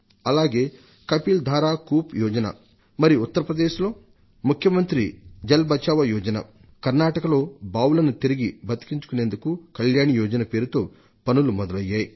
అలాగే కపిల్ ధారా కూప్ యోజన మరి ఉత్తరప్రదేశ్లో ముఖ్యమంత్రి జల్ బచావో యోజన కర్ణాటకలో బావులను తిరిగి బతికించుకునేందుకు కల్యాణి యోజన పేరుతో పనులు మొదలయ్యాయి